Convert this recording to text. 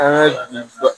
An ka